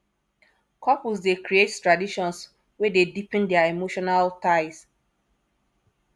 couples dey create traditions wey dey deepen their emotional ties